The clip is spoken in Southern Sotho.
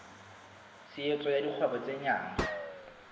tshehetso ya dikgwebo tse nyenyane